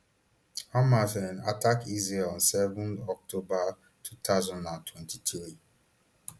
hamas um attack israel on seven october two thousand and twenty-three